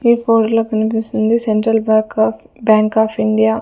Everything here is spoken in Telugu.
ఈ లో కనిపిస్తుంది central back of bank of India .